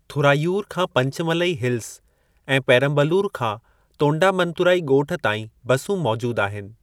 थुराइयूर खां पंचमलई हिल्स ऐं पेरंबलूर खां तोंडामंतुराइ ॻोठ ताईं बसूं मौजूदु आहिनि।